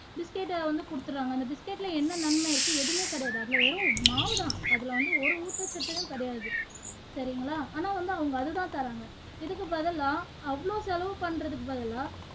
biscuit அ வந்து குடுத்துடுறாங்க அந்த biscuit ல என்ன நன்மை இருக்கு எதுவுமே கிடையாது வெறும் மாவு தான் அதுல வந்து ஒரு ஊட்டச்சத்தும் கிடையாது சரிங்களா ஆனா வந்து அவங்க அது தான் தர்றாங்க இதுக்கு பதிலா அவ்ளோ செலவு பண்றதுக்கு பதிலா